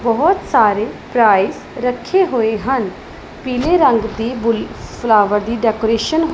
ਬਹੁਤ ਸਾਰੇ ਪ੍ਰਾਈਸ ਰੱਖੇ ਹੋਏ ਹਨ ਪੀਲੇ ਰੰਗ ਦੀ ਫਲਾਵਰ ਦੀ ਡੈਕੋਰੇਸ਼ਨ --